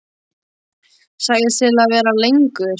Sagðist til í að vera lengur.